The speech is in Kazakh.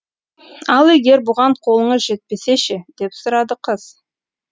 ал егер бұған қолыңыз жетпесе ше деп сұрады қыз